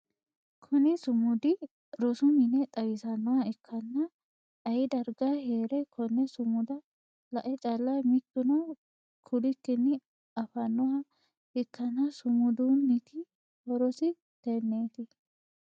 Kunni sumudi rosu minne xawisanoha ikanna ayi darga heere konne sumuda la'e calla mituno kulikinni afanoha ikanna sumudunniti horosi teneeti.